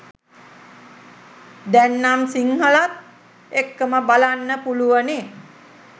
දැන්නම් සිංහලත් එක්කම බලන්න පුළුවනි